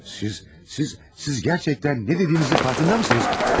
Siz, siz, siz həqiqətən nə dediyinizin fərqindəsinizmi?